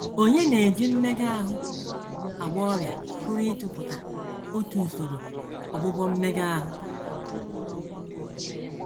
Onye na - eji mmega ahụ agwọ ọrịa pụrụ ịtụpụta otu usoro ọgwụgwọ mmega ahụ.